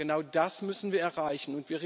Genau das müssen wir erreichen.